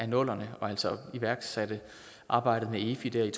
nullerne altså iværksatte arbejdet med efi dér